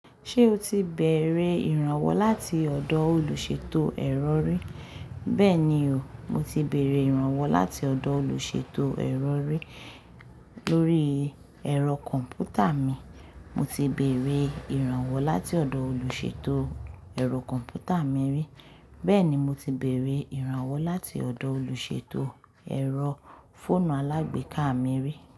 Ṣé o ti bère ìrànwọ́ láti ọ̀dọ olùṣètò ẹ̀rọ ri? Bẹ́ẹ̀ni o, mo ti bère ìrànwọ́ láti ọ̀dọ olùṣètò ẹ̀rọ rí lórí ẹ̀rọ kọ̀m̀pútà mi. Mo ti bẹ̀rẹ̀ ìrànwọ́ láti ọ̀dọ̀ olùṣètò ẹ̀rọ kọ̀m̀pútà mi ri. Bẹ́ẹ̀ni, mo ti bère ìrànwọ́ láti ọ̀dọ olùṣètò ẹ̀rọ fóònù alágbèéká mi rí.